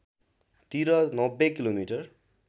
तिर ९० किमि